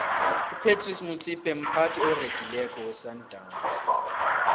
upratice motsipe mphathi oregileko wesandawnsi